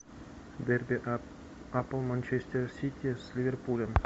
дерби апл манчестер сити с ливерпулем